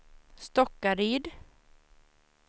Stockaryd